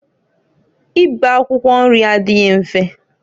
Ibe akwụkwọ nri adịghị mfe.